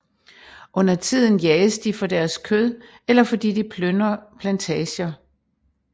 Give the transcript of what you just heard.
Undertiden jages de for deres kød eller fordi de plyndrer plantager